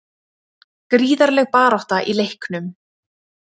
Gríðarleg barátta í leiknum